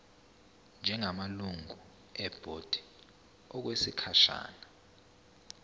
njengamalungu ebhodi okwesikhashana